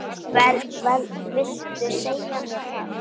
Viltu segja mér það?